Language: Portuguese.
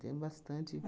Tem bastante.